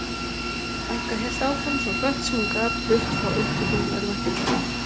Frænka hélt áfram svo hratt sem hún gat burt frá upptökum örvæntingarinnar.